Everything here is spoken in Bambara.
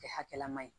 Kɛ hakɛlama ye